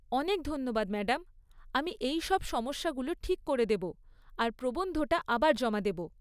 অনেক ধন্যবাদ ম্যাডাম, আমি এই সব সমস্যাগুলো ঠিক করে দেব আর প্রবন্ধটা আবার জমা দেব।